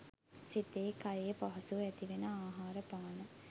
සිතේ කයේ පහසුව ඇතිවෙන ආහාර පාන